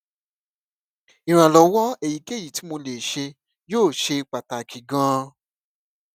ìrànlọwọ èyíkéyìí tí mo lè ṣe yóò ṣe pàtàkì ganan